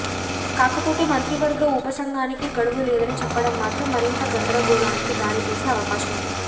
కాకపోతే మంత్రివర్గ ఉప సంఘానికి గడువు లేదని చెప్పడం మాత్రం మరింత గందరగోళానికి దారి తీసే అవకాశం ఉంది